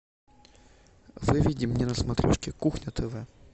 выведи мне на смотрешке кухня тв